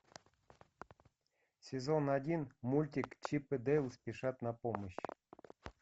сезон один мультик чип и дейл спешат на помощь